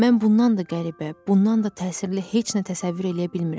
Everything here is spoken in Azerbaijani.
Mən bundan da qəribə, bundan da təsirli heç nə təsəvvür eləyə bilmirəm.